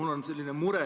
Mis on teie lahendus?